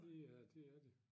Det er det er de